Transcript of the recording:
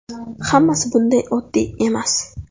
Hammasi bunday oddiy emas.